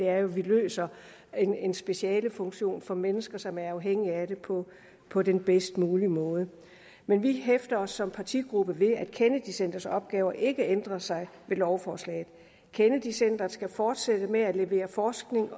er jo at vi løser en specialefunktion for mennesker som er afhængige af det på på den bedst mulige måde men vi hæfter os som partigruppe ved at kennedy centrets opgaver ikke ændrer sig med lovforslaget kennedy centret skal fortsætte med at levere forskning